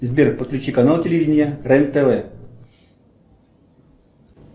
сбер подключи канал телевидения рен тв